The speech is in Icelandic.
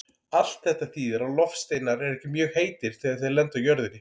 Allt þetta þýðir að loftsteinar eru ekki mjög heitir þegar þeir lenda á jörðinni.